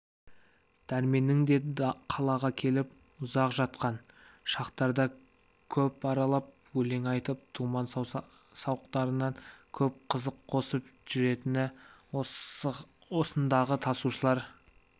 дәрменнің де қалаға келіп ұзақ жатқан шақтарда көп аралап өлең айтып думан-сауықтарына көп қызық қосып жүретіні осындағы тасушылар